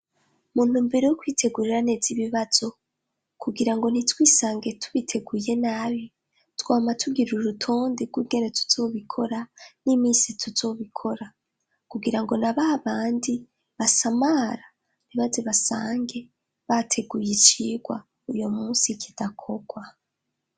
Muntumbero yo kwitegurira neza ibibazo kugira ngo ntitwisange tubiteguye nabi, twama tugira urutonde rw'ingene tuzobikora n'iminsi tuzobikora kugira ngo na bamwe basamara, ntibazo sange bateguye icigwa uyo munsi kidakorwa.